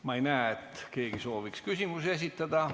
Ma ei näe, et keegi sooviks küsimusi esitada.